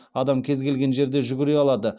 адам кез келген жерде жүгіре алады